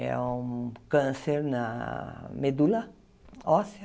É um câncer na medula óssea.